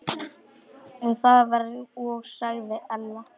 Það var og sagði Ella.